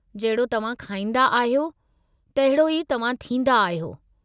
जहिड़ो तव्हां खाईंदा आहियो, तहिड़ो ई तव्हां थींदा आहियो।